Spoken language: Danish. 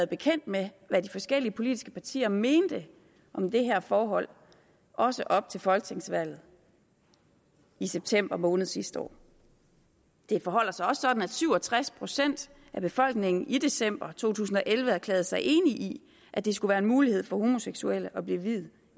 bekendt med hvad de forskellige politiske partier mente om det her forhold også op til folketingsvalget i september måned sidste år det forholder sig også sådan at syv og tres procent af befolkningen i december to tusind og elleve erklærede sig enig i at det skulle være en mulighed for homoseksuelle at blive viet